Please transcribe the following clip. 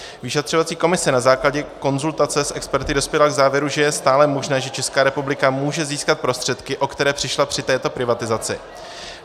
Vyšetřovací komise na základě konzultace s experty dospěla k závěru, že je stále možné, že Česká republika může získat prostředky, o které přišla při této privatizaci.